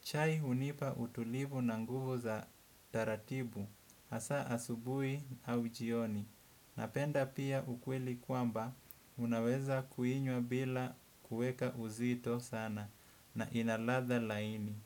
Chai hunipa utulivu na nguvu za taratibu, hasa asubuhi au jioni. Napenda pia ukweli kwamba, unaweza kuinywa bila kuweka uzito sana, na ina ladha laini.